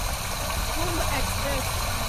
Kumbh express